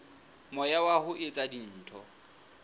moya wa ho etsa dintho